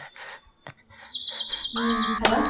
உம் hello